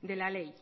de la ley